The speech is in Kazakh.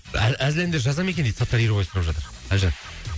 әзіл әндер жаза ма екен дейді саттар ерубаев сұрап жатыр әлжан